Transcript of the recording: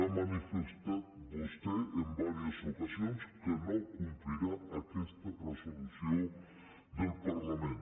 ha manifestat vostè en diverses ocasions que no complirà aquesta resolució del parlament